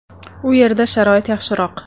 – U yerda sharoit yaxshiroq.